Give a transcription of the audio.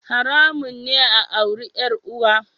Haramun ne a auri 'yar uwa